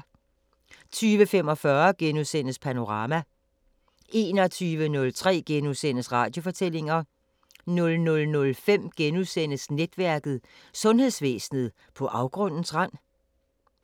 20:45: Panorama * 21:03: Radiofortællinger * 00:05: Netværket: Sundhedsvæsenet på afgrundens rand? *